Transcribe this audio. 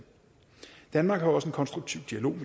danmark har også en konstruktiv dialog